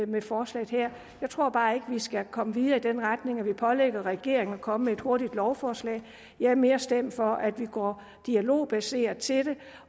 med forslaget her jeg tror bare ikke at vi skal komme videre i den retning at vi pålægger regeringen at komme med et hurtigt lovforslag jeg er mere stemt for at vi går dialogbaseret til det